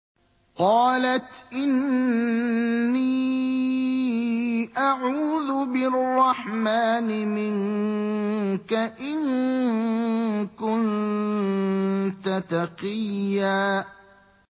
قَالَتْ إِنِّي أَعُوذُ بِالرَّحْمَٰنِ مِنكَ إِن كُنتَ تَقِيًّا